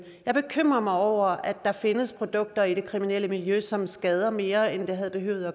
er bekymret over at der findes produkter i det kriminelle miljø som skader mere end de havde